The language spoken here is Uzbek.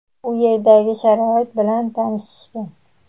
u yerdagi sharoit bilan tanishishgan.